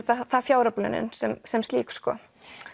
það fjáröflunin sem sem slík sko